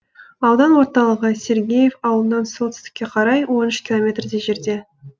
аудан орталығы сергеев ауылынан солтүстікке қарай он үш километрдей жерде